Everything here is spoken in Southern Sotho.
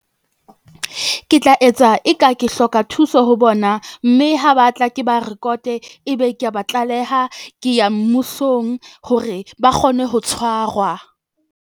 Ke tla etsa e ka ke hloka thuso ho bona, mme ha ba tla ke ba rekote, ebe ke ba tlaleha, ke ya mmusong hore ba kgone ho tshwarwa.